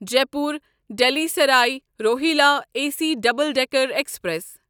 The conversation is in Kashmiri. Jaipur Delhi Sarai Rohilla A C double decker express